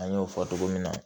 An y'o fɔ togo min na